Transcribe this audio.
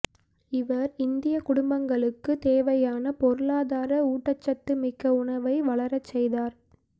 இவர் இந்திய குடும்பங்களுக்கு தேவையான பொருளாதார ஊட்டசத்து மிக்க உணவை வளரச்செய்தார்